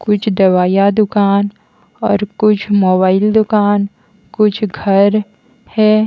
कुछ दवाइयाँ दुकान और कुछ मोबाइल दुकान कुछ घर है।